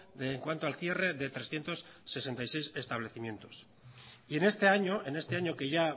en cuanto al cierre de trescientos sesenta y seis establecimientos y en este año en este año que ya